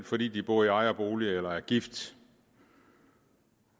fordi de bor i ejerbolig eller er gift